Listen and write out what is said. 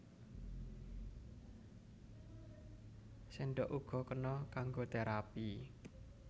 Séndhok uga kena kanggo terapi